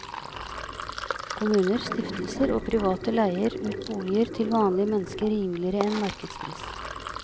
Kommuner, stiftelser og private leier ut boliger til vanlige mennesker rimeligere enn markedspris.